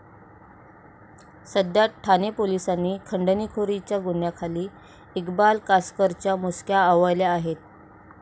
सध्या ठाणे पोलिसांनी खंडणीखोरीच्या गुन्ह्याखाली इक्बाल कासकरच्या मुसक्या आवळल्या आहेत.